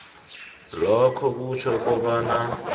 lokhu kutjho kobana